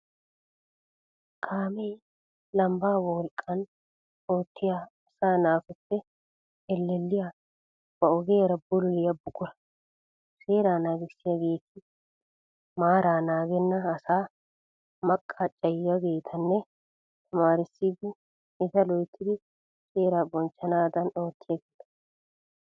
Kaamee lambbaa wolqqan oottiya asaa naatuppe ellelliya ba ogiyaara bululiya buqura. Seeraa naagissiyageeti maaraa naagenna asaa maqacciyaageetanne tamaarissidi eta loyittidi seeraa bonchchanaadan oottiyageeta.